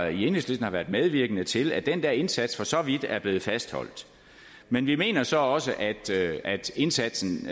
i enhedslisten har været medvirkende til at den der indsats for så vidt er blevet fastholdt men vi mener så også at indsatsen